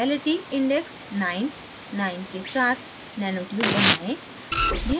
chirality index 99 के साथ nanotube बनाएं